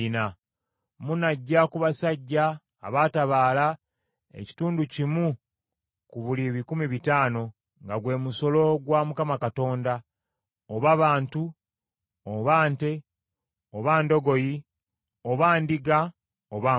Munaggya ku basajja abaatabaala ekitundu kimu ku buli bikumi bitaano, nga gwe musolo gwa Mukama Katonda, oba bantu, oba nte, oba ndogoyi, oba ndiga oba mbuzi.